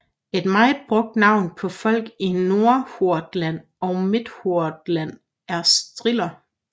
Et meget brugt navn på folk i Nordhordland og Midthordland er striler